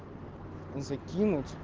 и закинуть